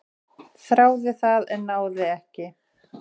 """Þráði það, en náði ekki."""